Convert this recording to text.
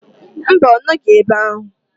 Mba, ọ nọghi ebe ahụ.